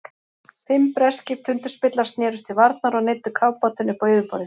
Fimm breskir tundurspillar snerust til varnar og neyddu kafbátinn upp á yfirborðið.